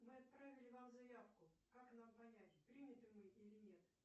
мы отправили вам заявку как нам понять приняты мы или нет